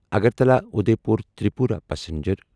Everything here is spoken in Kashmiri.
اگرٹالا اُدیپور تریپورا پسنجر